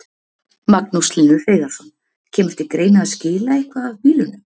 Magnús Hlynur Hreiðarsson: Kemur til greina að skila eitthvað af bílunum?